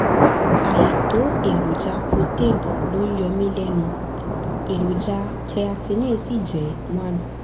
àìtó èròjà protein ló ń yọ mí lẹ́nu èròjà creatinine sì jẹ́ 1